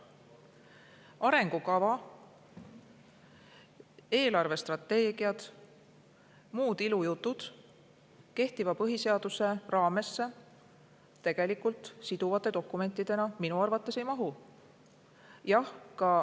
Arengukavad, eelarvestrateegiad ja muud ilujutud kehtiva põhiseaduse raamesse siduvate dokumentidena minu arvates tegelikult ei mahu.